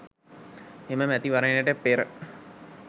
එම මැතිවරණයට පෙර